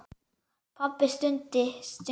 Pabbi stundi þungan.